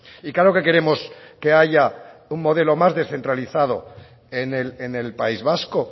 y claro que queremos que haya un modelo más descentralizado en el país vasco